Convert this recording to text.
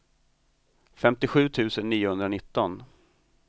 femtiosju tusen niohundranitton